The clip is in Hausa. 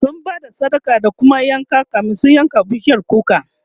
sun Bada sadaka da kuma yanka kamin su yanka bishiyar kukar